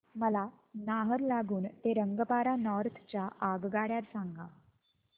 मला नाहरलागुन ते रंगपारा नॉर्थ च्या आगगाड्या सांगा